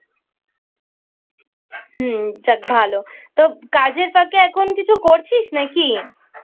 হুম যাক ভালো তা কাজের ফাঁকে এখন কিছু করছিস নাকি?